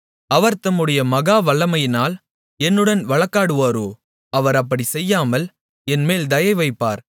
அவர் தம்முடைய மகா வல்லமையினால் என்னுடன் வழக்காடுவாரோ அவர் அப்படிச் செய்யாமல் என்மேல் தயை வைப்பார்